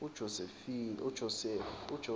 ujosefu